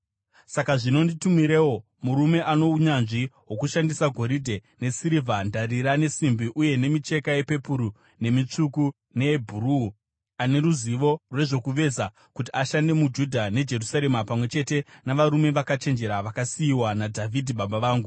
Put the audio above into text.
“Saka zvino nditumirewo, murume ano unyanzvi hwokushandisa goridhe, nesirivha, ndarira, nesimbi uye nemicheka yepepuru nemitsvuku neyebhuruu, ane ruzivo rwezvokuveza kuti ashande muJudha neJerusarema pamwe chete navarume vakachenjera vakasiyiwa naDhavhidhi baba vangu.